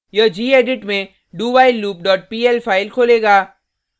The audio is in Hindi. यह gedit में dowhilelooppl फाइल खोलेगा